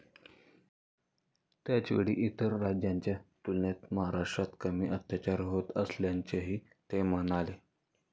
त्याचवेळी इतर राज्यांच्या तुलनेत महाराष्ट्रात कमी अत्याचार होत असल्याचंही ते म्हणाले.